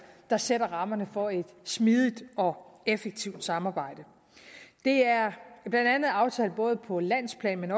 der sætter rammerne for et smidigt og effektivt samarbejde det er blandt andet aftalt både på landsplan